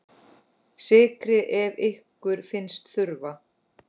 Sykrið ef ykkur finnst þurfa.